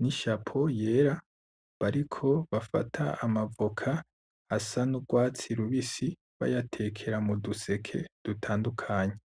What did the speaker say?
n'ishapo yera bariko bafata amavoka asa n'ugwatsi rubisi bayatekera muduseke dutandukanye.